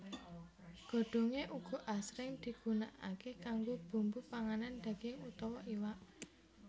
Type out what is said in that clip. Godhongé uga asring digunakaké kanggo bumbu panganan daging utawa iwak